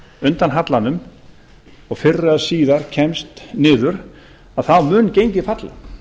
undan hallanum og fyrr eða síðar kemst niður að þá mun gengið falla